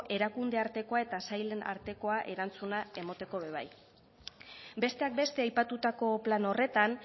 erakunde artekoa eta sailen artekoa erantzuna emoteko ere bai besteak beste aipatutako plan horretan